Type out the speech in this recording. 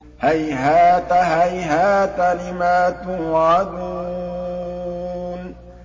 ۞ هَيْهَاتَ هَيْهَاتَ لِمَا تُوعَدُونَ